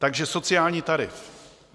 Takže sociální tarif.